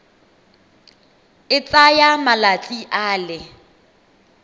e tsaya malatsi a le